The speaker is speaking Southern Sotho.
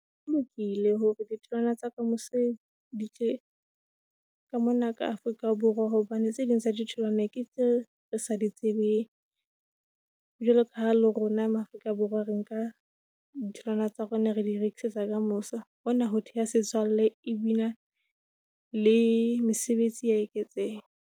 Ho lokile hore ditholwana tsa ka mose di tle ka mona ka Afrika Borwa, hobane tse ding tsa ditholwana ke tseo re sa di tsebeng, lekala le rona Maafrika Borwa re nka ditholwana tsa rona re di rekisetsa ka mose. Hona ho theha setswalle e bile le mesebetsi ya eketseha.